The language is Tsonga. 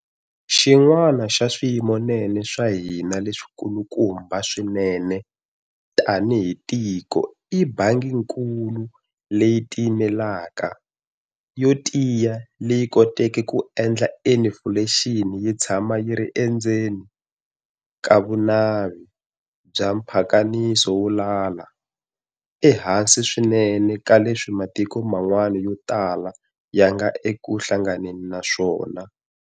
Xin'wana xa swiyimonene swa hina leswikulumba swinene tanihi tiko i Bangikulu leyi tiyimelaka, yo tiya leyi koteke ku endla inifulexini yi tshama yi ri endzeni ka vunavi bya mpakaniso wo lala, ehansi swinene ka leswi matiko man'wana yo tala ya nga eku hlanganeni na swona.